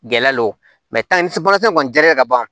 Gɛlɛ lo kɔni jara ka ban